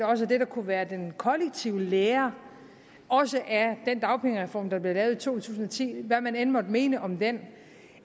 også at det der kunne være den kollektive lære også af den dagpengereform der blev lavet tusind og ti hvad man end måtte mene om den